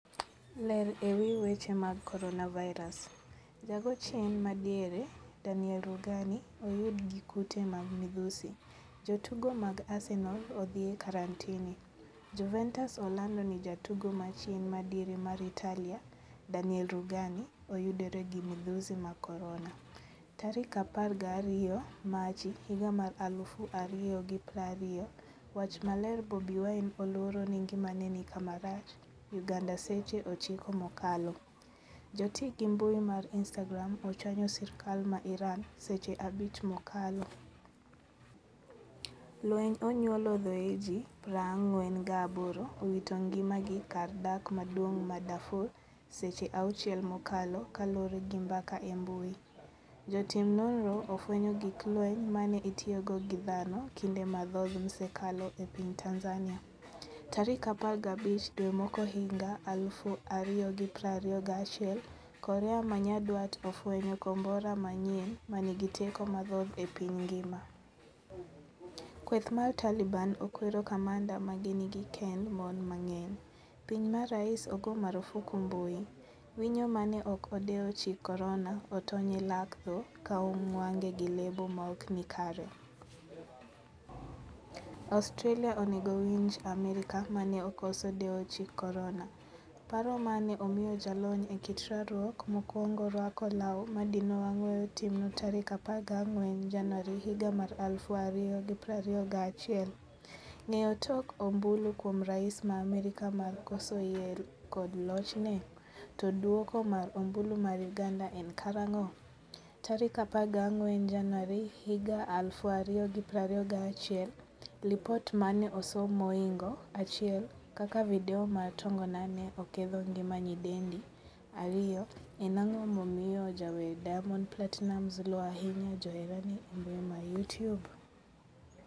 Ler ewi weche mag Coronavirus: Ja go chien madiere, Daniele Rugani oyud gi kute mag midhusi, jotugo mag Arsenal odhiye karantini. Juventus olando ni jatugo ma chien ma diere mar Italia Daniele Ruganioyudore gi midhusi mar corona.12 Machi 2020. Wach maler Bobi Wine oluoro ni ngimane ni kama rach' Uganda Seche 9 mokalo. Joti gi mbui mar Instagram ochwanyo sirkal ma Iran seche 5 mokalo. Lweny onyuolo thoe ji 48 owito ngima gi kar dak maduong' ma Darfur Seche 6 mokalo kaluore gi mbaka e mbui. Jotim nonro ofwenyo gig lweny mane itiyogo gi dhano kinde mathoth msekalo e piny Tanzania. Tarik 15 dwe mokwongohiga 2021 korea manyandwat ofwenyo kombora manyien manigi teko mathoth e piny ngima. Kweth mar Taliban okwero kamanda mage ni kikkend mon mang'eny. piny ma rais ogo marufuku mbui. Winyo mane ok odewo chik korona otony e lak tho ka onwang'e gi lebo maokni kare. Australia onego winj Amerka mane okoso dewo chik korona. paro mane omiyo jalony e kit rwakruok mokwongo rwako law madino wang' weyo timno tarik 14 januari 2021. Ng'eyo tok ombulu kuom rais ma Amerka mar koso yie kod lochne? To duoko mar ombulu mar uganda en karang'o?14 Januari 2021Lipot mane osom mohingo 1 kaka video mar tongona ne oketho ngima nyidendi 2. en ang'o momiyo jawer Diamond Platinumz luo ahinya joherane embui ma Youtube?